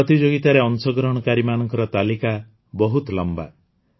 ପ୍ରତିଯୋଗିତାରେ ଅଂଶଗ୍ରହଣକାରୀମାନଙ୍କ ତାଲିକା ବହୁତ ଲମ୍ବା